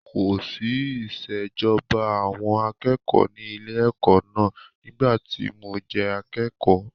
Kòsí ìṣèjọba àwọn akẹ́kọ̀ọ́ ní ilé-ẹ̀kọ́ náà nígbà tí mo jẹ́ akékọ̀ọ́.